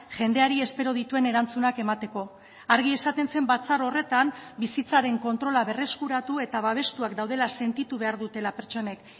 jendeari espero dituen erantzunak emateko argi esaten zen batzar horretan bizitzaren kontrola berreskuratu eta babestuak daudela sentitu behar dutela pertsonek